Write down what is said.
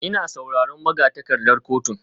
Ina sauran magatakardar kotun?